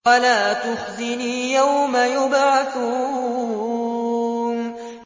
وَلَا تُخْزِنِي يَوْمَ يُبْعَثُونَ